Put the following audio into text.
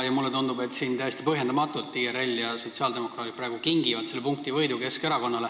Mulle tundub, et täiesti põhjendamatult kingivad IRL ja sotsiaaldemokraadid praegu punktivõidu Keskerakonnale.